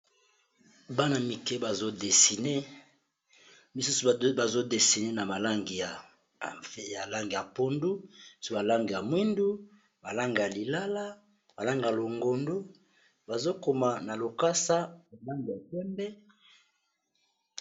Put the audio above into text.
Bana mike bazodesine, misusu bazodesine na ba langi ya mai ya pondu misusu balange ya mwindu, ba langi ya lilala, ba langi ya longondo, bazokoma na lokasa ba langi ya pembe.